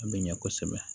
A bɛ ɲɛ kosɛbɛ